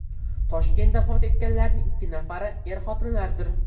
Toshkentda vafot etganlarning ikki nafari er-xotinlardir.